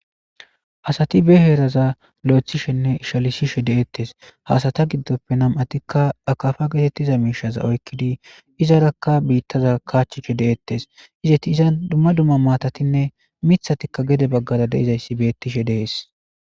asati be heeraza lo7ethishenne ishalisishe deettes hasata giddoppe nam7atikka akafa getettiza miishaza oykkidi izarakka biittaza kaachchishe deettes izeti iza dumma dumma maatatinne mithatikka gede baggara deizayssi beettishe dees